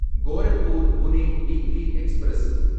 Gorakhpur Pune weekly express